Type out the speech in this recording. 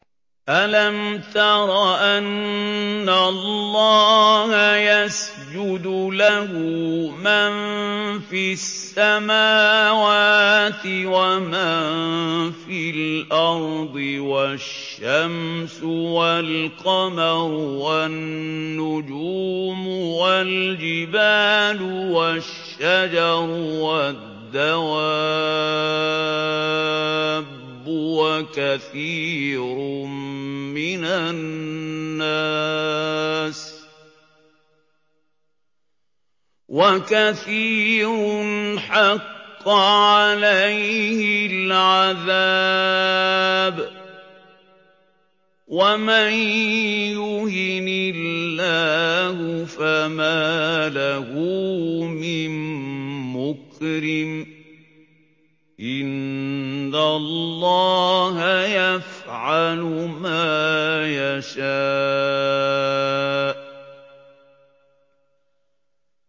أَلَمْ تَرَ أَنَّ اللَّهَ يَسْجُدُ لَهُ مَن فِي السَّمَاوَاتِ وَمَن فِي الْأَرْضِ وَالشَّمْسُ وَالْقَمَرُ وَالنُّجُومُ وَالْجِبَالُ وَالشَّجَرُ وَالدَّوَابُّ وَكَثِيرٌ مِّنَ النَّاسِ ۖ وَكَثِيرٌ حَقَّ عَلَيْهِ الْعَذَابُ ۗ وَمَن يُهِنِ اللَّهُ فَمَا لَهُ مِن مُّكْرِمٍ ۚ إِنَّ اللَّهَ يَفْعَلُ مَا يَشَاءُ ۩